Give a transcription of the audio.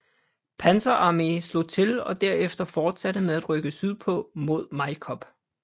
Panzer Arme slog til og derefter fortsatte med at rykke sydpå mod Majkop